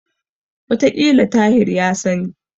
Wataƙila Tahir ya sani.